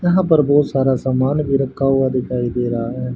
यहां पर बहोत सारा समान भी रखा हुआ दिखाई दे रहा है।